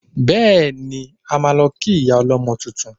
Bẹ́ẹ̀ni, a máa lọ kí ìyá ọlọ́mọ tuntun